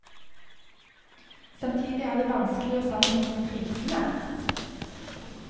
Samtidig er det vanskelig å sammenligne prisene.